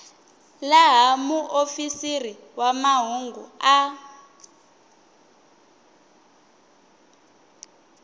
laha muofisiri wa mahungu a